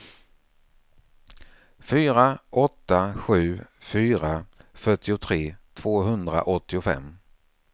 fyra åtta sju fyra fyrtiotre tvåhundraåttiofem